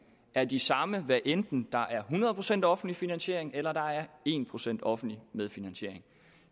er de samme hvad enten der er hundrede procent offentlig finansiering eller der er en procent offentlig medfinansiering